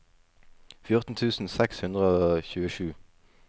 fjorten tusen seks hundre og tjuesju